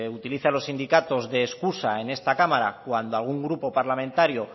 utilice a los sindicatos de excusa en esta cámara cuando algún grupo parlamentario